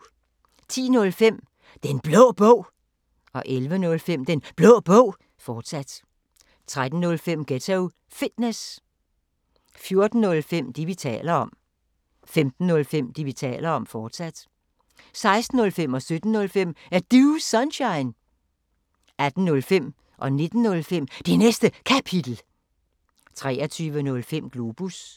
10:05: Den Blå Bog 11:05: Den Blå Bog, fortsat 13:05: Ghetto Fitness 14:05: Det, vi taler om 15:05: Det, vi taler om, fortsat 16:05: Er Du Sunshine? 17:05: Er Du Sunshine? 18:05: Det Næste Kapitel 19:05: Det Næste Kapitel, fortsat 23:05: Globus